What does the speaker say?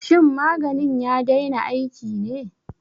Shin maganin ya daina aiki ne?